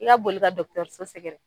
I ka boli ka dɔkitɛriso sɛgɛrɛ